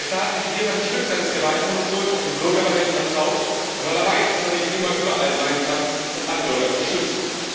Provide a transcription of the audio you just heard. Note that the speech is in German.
Der Staat delegiert ein Stück seines Gewaltmonopols auf den Bürger, weil er ihm vertraut und weil er weiß, dass er nicht immer überall sein kann, um alle Bürger zu schützen.